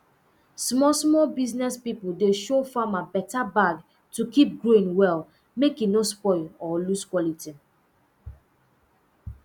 smallsmall business pipo dey show farmer better bag to keep grain well mek e no spoil or lose quality